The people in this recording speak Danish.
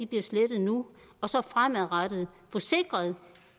bliver slettet nu og så fremadrettet få sikret